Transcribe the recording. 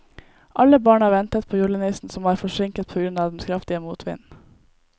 Alle barna ventet på julenissen, som var forsinket på grunn av den kraftige motvinden.